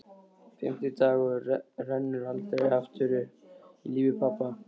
Fimmti dagurinn rennur aldrei aftur upp í lífi pabba.